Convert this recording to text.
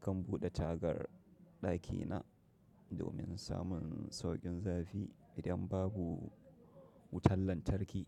Kan bude tagar dakina domin samun sauƙin zafi idan babu wutan lantarki.